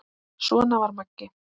Svona var Maggi.